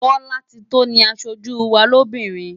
Bolatito ni aṣojú wa lóbìnrin.